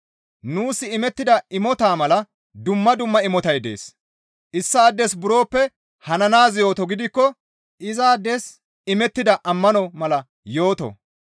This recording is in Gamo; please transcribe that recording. Nuus imettida imota mala dumma dumma imotay dees; issaades buroppe hananaaz yooto gidikko izaades imettida ammano mala yooto.